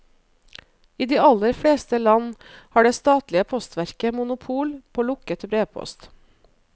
I de aller fleste land har det statlige postverket monopol på lukket brevpost.